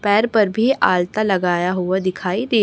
पैर पर भी आलता लगाया हुआ दिखाई दे--